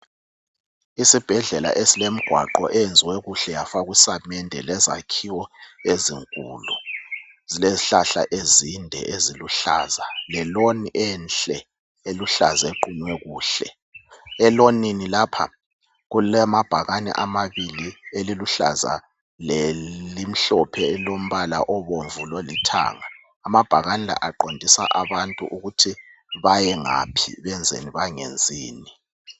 Isibhedlela esilemigwaqo eyenziwe kuhle yafakwa isamende lezakhiwo ezinkulu. Zilezihlahla ezinde eziluhlaza leloni enhle eluhlaza equnywe kuhle. Elonini lapha kulamabhakani amabili eliluhlaza lelimhlophe elilombala obomvu lolithanga . Amabhakane la aqondisa abantu ukuthi bayengaphi, benzeni bangenzini.